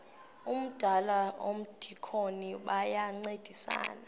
umdala nomdikoni bayancedisana